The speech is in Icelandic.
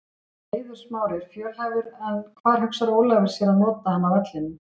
Eiður Smári er fjölhæfur en hvar hugsar Ólafur sér að nota hann á vellinum?